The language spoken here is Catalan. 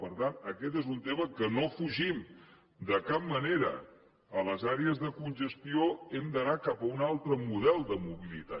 per tant aquest és un tema que no defugim de cap manera a les àrees de congestió hem d’anar cap a un altre model de mobilitat